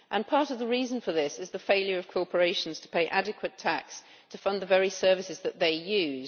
Part of the reason for this is the failure of corporations to pay adequate tax to fund the very services that they use.